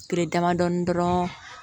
Kile damadɔni dɔrɔn